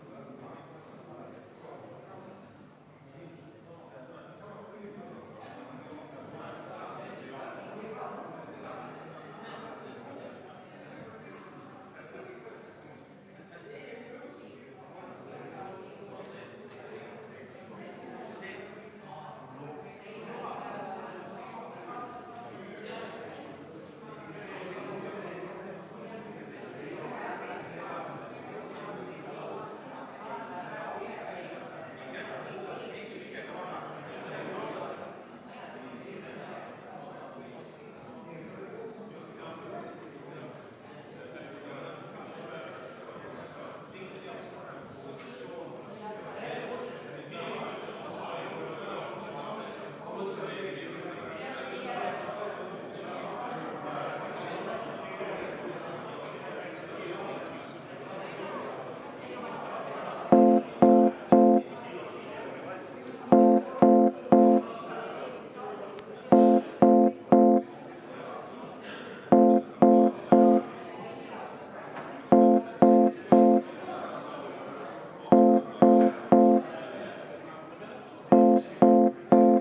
V a h e a e g